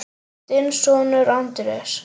Þinn sonur, Andrés.